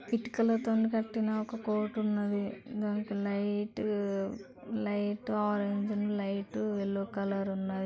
ఇటుకలతో కట్టిన ఒక కోటున్నది దానికి లైట్ లైట్ ఆరంజ్ ఉంది.